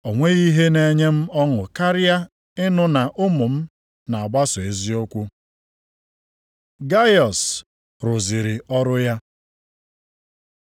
O nweghị ihe na-enye m ọṅụ karịa ịnụ na ụmụ m na-agbaso eziokwu. Gaiọs rụziri ọrụ ya